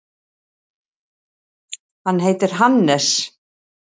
Hann heitir Hannes.